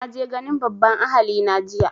Na je ganin babban ahali na jiya